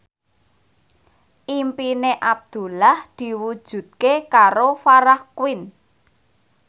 impine Abdullah diwujudke karo Farah Quinn